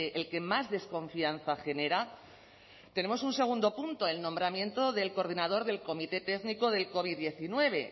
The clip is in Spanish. el que más desconfianza genera tenemos un segundo punto el nombramiento del coordinador del comité técnico del covid diecinueve